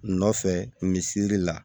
Nɔfɛ misisiri la